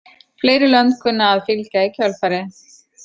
Fleiri lönd kunna að fylgja í kjölfarið.